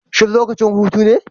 Shin lokacin hutu ne?